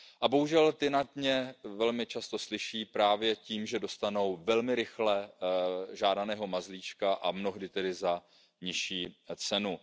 Bohužel ti na ně velmi často slyší právě tím, že dostanou velmi rychle žádaného mazlíčka a mnohdy tedy za nižší